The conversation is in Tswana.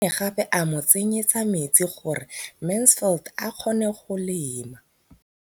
O ne gape a mo tsenyetsa metsi gore Mansfield a kgone go lema.